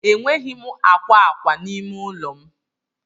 Enweghị m akwa akwa n'ime ụlọ m.